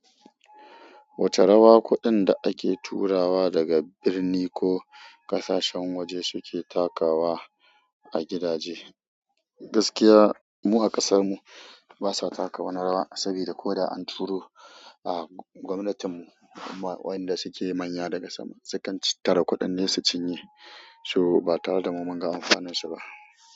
Wace rawa kuɗin da ake turawa daga birni ko ƙasashen waje suke takawa a gidaje? Gaskiya, mu a ƙasar mu basa taka wani rawa sabida ko da an turo, a gwamnatin mu wanda suke manya daga sama, su kan cit tattara kuɗin ne su cinye, so ba tare da mu mun ga amfanin su ba.